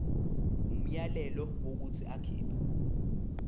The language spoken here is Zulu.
umyalelo wokuthi akhipha